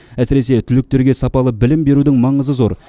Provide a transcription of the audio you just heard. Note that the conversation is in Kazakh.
әсіресе түлектерге сапалы білім берудің маңызы зор